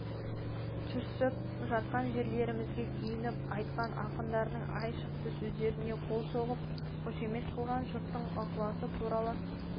түсіп жатқан жерлерімізге күйініп айтқан ақындардың айшықты сөздеріне қол соғып қошемет қылған жұрттың ықыласы туралы